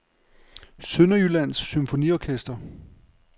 Sønderjyllands Symfoniorkester